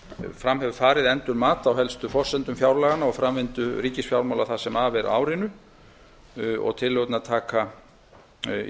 fram hefur farið endurmat á helstu forsendum fjárlaganna og framvindu ríkisfjármálanna það sem af er árinu tillögurnar í